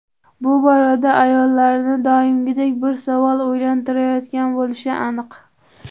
Bu borada ayollarni doimgidek bir savol o‘ylantirayotgan bo‘lishi aniq.